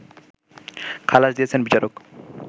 খালাস দিয়েছেন বিচারক